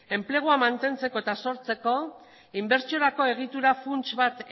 enplegua mantentzeko eta sortzeko inbertsiorako egitura funts bat